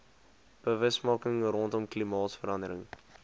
bewusmaking rondom klimaatsverandering